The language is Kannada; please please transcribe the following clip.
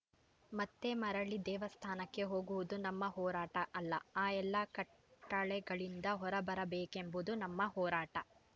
ಮತ್ತೆ ಮರಳಿ ದೇವಸ್ಥಾನಕ್ಕೆ ಹೋಗುವುದು ನಮ್ಮ ಹೋರಾಟ ಅಲ್ಲ ಆ ಎಲ್ಲ ಕಟ್ಟಳೆಗಳಿಂದ ಹೊರಬರಬೇಕೆಂಬುದು ನಮ್ಮ ಹೋರಾಟ